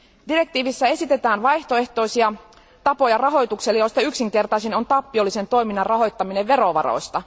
Direktiivissä esitetään vaihtoehtoisia tapoja rahoitukselle, joista yksinkertaisin on tappiollisen toiminnan rahoittaminen verovaroista.